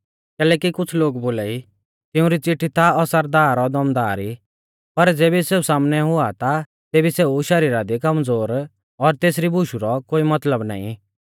कैलैकि कुछ़ लोग बोलाई तिउंरी चिट्ठी ता असरदार और दमदार ई पर ज़ेबी सेऊ सामनै हुआ ता तेबी सेऊ शरीरा दी कमज़ोर और तेसरी बुशु रौ कोई मतलब नाईं